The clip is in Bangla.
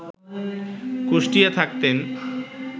কুষ্টিয়ায় থাকতেন